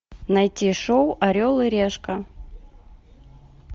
найти шоу орел и решка